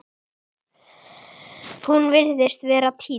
Hún virtist vera týnd